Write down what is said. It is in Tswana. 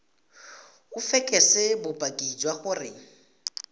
o fekese bopaki jwa gore